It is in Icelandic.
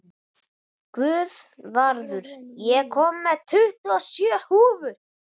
Guðvarður, ég kom með tuttugu og sjö húfur!